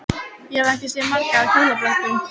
Ég hef ekki séð margar á hjólabrettum.